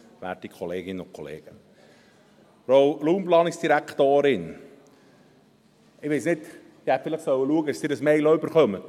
: Ich weiss nicht, vielleicht hätte ich schauen sollen, dass Sie diese Mail auch bekommen.